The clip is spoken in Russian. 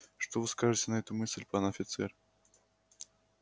что вы скажете на эту мысль пан офицер